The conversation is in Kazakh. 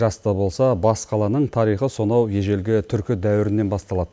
жас та болса бас қаланың тарихы сонау ежелгі түркі дәуірінен басталады